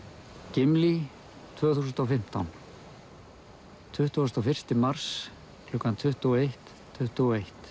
Gimli tvö þúsund og fimmtán tuttugasta og fyrsta mars klukkan tuttugu og eitt tuttugu og eitt